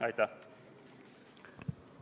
Aitäh!